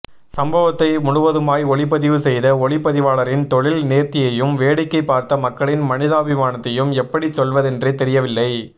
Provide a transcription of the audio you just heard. சம்பவத்தை முழுவதுமாய் ஒளிப்பதிவு செய்த ஒளிப்பதிவாளரின் தொழில் நேர்த்தியையும் வேடிக்கை பார்த்த மக்களின் மனிதாபிமானத்தையும் எப்படி சொல்வதென்றே தெரியவில்லை